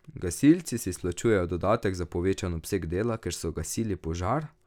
Gasilci si izplačujejo dodatek za povečan obseg dela, ker so gasili požar?